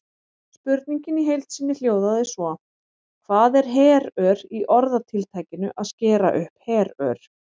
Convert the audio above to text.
Spurningin í heild sinni hljóðaði svo: Hvað er herör í orðatiltækinu að skera upp herör?